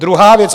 Druhá věc.